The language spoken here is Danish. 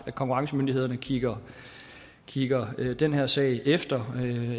konkurrencemyndighederne kigger kigger den her sag efter